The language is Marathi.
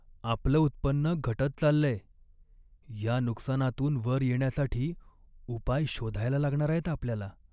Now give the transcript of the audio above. आपलं उत्पन्न घटत चाललंय! या नुकसानातून वर येण्यासाठी उपाय शोधायला लागणार आहेत आपल्याला.